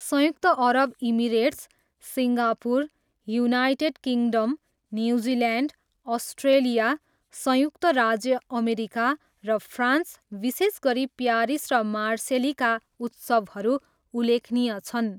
संयुक्त अरब Emirates, Singapore, United Kingdom, New Zealand, Australia, संयुक्त राज्य अमेरिका र फ्रान्स, विशेष गरी प्यारिस र मार्सेलीका उत्सवहरू उल्लेखनीय छन्।